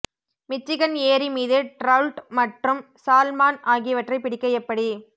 Michigan ஏரி மீது trout மற்றும் சால்மன் ஆகியவற்றைப் பிடிக்க எப்படி